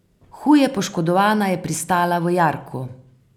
Huje poškodovana je pristala v jarku.